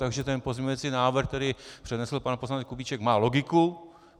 Takže ten pozměňující návrh, který přednesl pan poslanec Kubíček, má logiku.